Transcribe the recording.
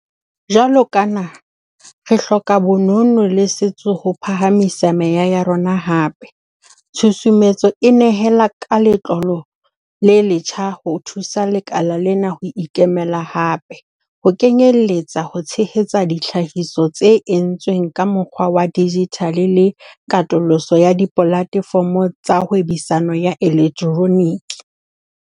Jwalo ka naha, re hloka bonono le setso ho phahamisa meya ya rona hape - tshusumetso e nehela ka letlole le letjha ho thusa lekala lena ho ikemela hape, ho kenyeletsa ho tshehetsa ditlhahiso tse entsweng ka mokgwa wa dijithale le katoloso ya dipolatefomo tsa hwebisano ya elektroniki.